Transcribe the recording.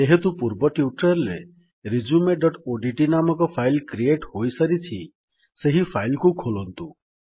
ଯେହେତୁ ପୂର୍ବ ଟ୍ୟୁଟୋରିଆଲ୍ ରେ resumeଓଡିଟି ନାମକ ଫାଇଲ୍ କ୍ରିଏଟ୍ ହୋଇସାରିଛି ସେହି ଫାଇଲ୍ କୁ ଖୋଲନ୍ତୁ